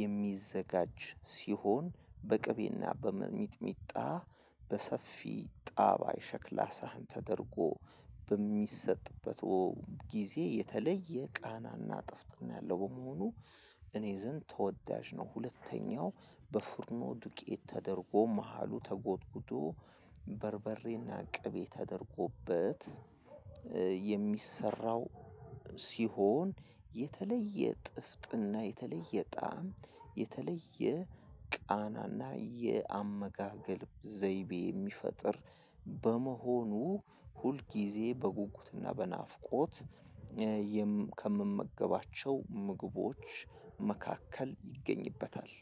የሚዘጋጅ ሲሆን በቅቤና በሚጥሚጣ በሰፊ ጣባይ ሸክላ ሳህን ተደርጎ በሚሰጥበት ጊዜ የተለየ ቃናና ጥፍጥና ያለው በመሆኑ እኔ ዘንድ ተወዳጅ ነው። ሁለተኛው በፍርኖ ዱቄት ተደርጎ መሃሉ ተጎድጉዶ በርበሬና ቅቤ ተደርጎበት የሚሰራው ሲሆን የተለየ ጥፍጥና የተለየ ጣዕም የተለየ ቃናና የአመጋገብ ዘይቤ የሚፈጥር በመሆኑ ሁልጊዜ በጉጉትና በናፍቆት ከምመገባቸው ምግቦች መካከል ይገኝበታል።